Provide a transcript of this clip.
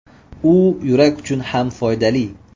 U yurak uchun ham foydali.